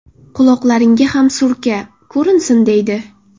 Quloqlaringga ham surka, ko‘rinsin” deydi.